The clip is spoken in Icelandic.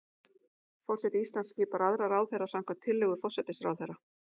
Forseti Íslands skipar aðra ráðherra samkvæmt tillögu forsætisráðherra.